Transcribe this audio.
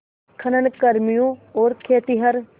खनन कर्मियों और खेतिहर